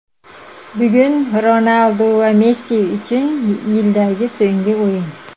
Bugun Ronaldu va Messi uchun yildagi so‘nggi o‘yin.